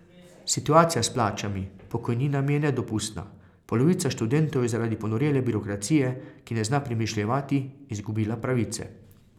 Situacija s plačami, pokojninami je nedopustna, polovica študentov je zaradi ponorele birokracije, ki ne zna premišljevati, izgubila pravice.